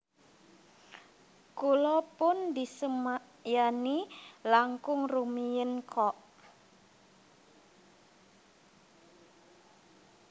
Kula pun disemayani langkung rumiyin kok